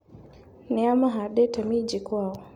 Nĩa mahandĩte minji kwao.